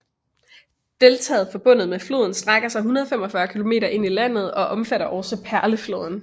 Deltaet forbundet med floden strækker sig 145 km ind i landet og omfatter også Perlefloden